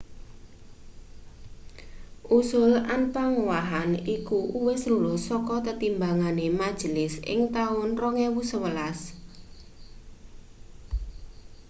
usul anpangowahan iku uwis lulus saka tetimbangane majelis ing taun 2011